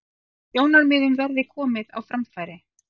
Sjónarmiðum verði komið á framfæri